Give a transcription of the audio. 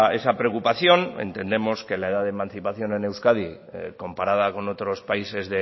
esa preocupación entendemos que la edad de emancipación en euskadi comparada con otros países